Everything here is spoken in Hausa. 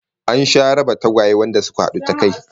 An sha raba tagwaye wanda suka hadu ta kai